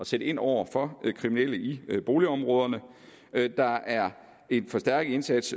sætte ind over for kriminelle i boligområderne der er en forstærket indsats